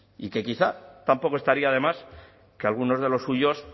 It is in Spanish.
y que quizá tampoco estaría de más que algunos de los suyos